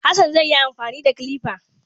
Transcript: Hassan zai yi amfani da kilifa